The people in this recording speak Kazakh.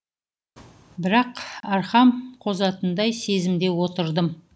бірақ арқам қозатындай сезімде отырдым